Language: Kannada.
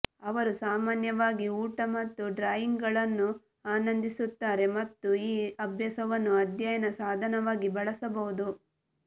ಅವರು ಸಾಮಾನ್ಯವಾಗಿ ಊಟ ಮತ್ತು ಡ್ರಾಯಿಂಗ್ಗಳನ್ನು ಆನಂದಿಸುತ್ತಾರೆ ಮತ್ತು ಈ ಅಭ್ಯಾಸವನ್ನು ಅಧ್ಯಯನ ಸಾಧನವಾಗಿ ಬಳಸಬಹುದು